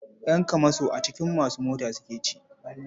Ƴan kamasho a jikin masu mota suke ci.